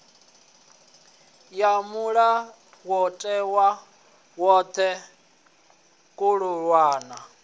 ya mulayotewa khothe khulwane ya